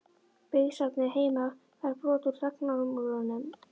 Byggðasafnið heima fær brot úr þagnarmúrnum